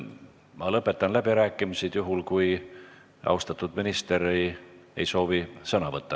Ma lõpetan läbirääkimised juhul, kui austatud minister ei soovi selles küsimuses enam sõna võtta.